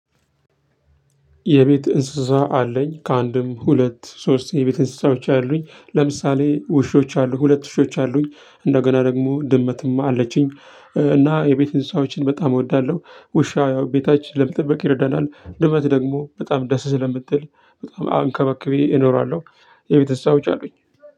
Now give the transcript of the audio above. የቤት እንስሳ አለኝ። ከአንድም፣ ሁለት፣ ሶስት የቤት እንስሳዎች አሉኝ። ለምሳሌ ውሾች አሉ ሁለት ውሾች አሉኝ። እንደገና ደግሞ ድመትም አለችኝ እና የቤት እንስሳዎችን በጣም እወዳለሁ። ውሻ ያው ቤታችን ለመጠበቅ ይረዳናል። ልመት ደግሞ በጣም ደስ ስለምትል በጣም አንከባክቢ እኖራለሁ። የቤት እንስሳዎች አሉኝ።